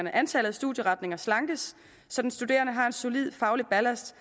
at antallet af studieretninger slankes så den studerende har en solid faglig ballast